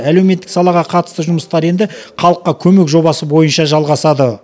әлеуметтік салаға қатысты жұмыстар енді халыққа көмек жобасы бойынша жалағасады